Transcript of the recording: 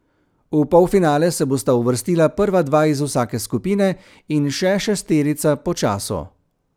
V polfinale se bosta uvrstila prva dva iz vsake skupine in še šesterica po času.